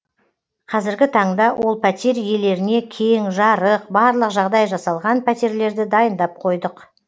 қазіргі таңда ол пәтер иелеріне кең жарық барлық жағдай жасалған пәтерлерді дайындап қойдық